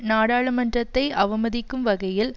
நாடாளுமன்றத்தை அவமதிக்கும் வகையில்